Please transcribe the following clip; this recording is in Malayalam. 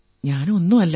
ഞാൻ ഒന്നുമല്ല